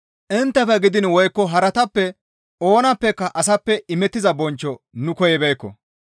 Inttefe gidiin woykko haratappe oonappeka asappe imettiza bonchcho nu koyibeekko.